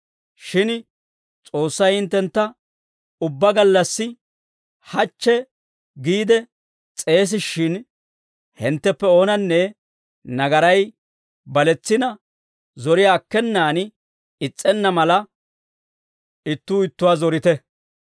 Shin S'oossay hinttentta ubbaa gallassi hachche giide s'eesishin, hintteppe oonanne nagaray baletsina, zoriyaa akkenaan is's'enna mala, ittuu ittuwaa zorite.